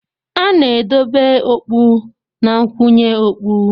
A na-edobe okpu na nkwụnye okpu.